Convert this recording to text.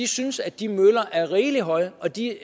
synes at de møller er rigelig høje og de